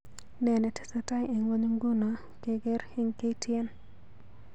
Ne netesetai eng ngony nguno keer eng k.t.n